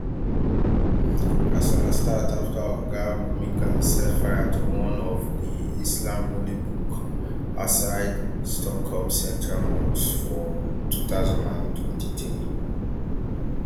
kasala start afta oga momika set fire to one of di islam holy book outside stockholm central mosque for two thousand and twenty-three